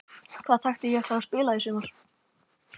Hvaða taktík ætlarðu að spila í sumar?